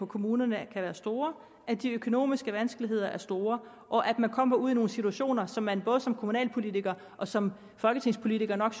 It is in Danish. kommunerne kan være store at de økonomiske vanskeligheder er store og at kommer ud i nogle situationer som man både som kommunalpolitiker og som folketingspolitiker nok